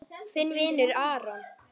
Þinn vinur Aron.